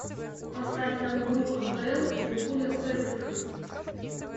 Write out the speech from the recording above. поставь нам игру апл ливерпуля с эвертоном